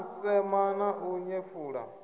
u sema na u nyefula